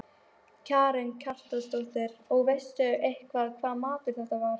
Karen Kjartansdóttir: Og veistu eitthvað hvaða maður þetta var?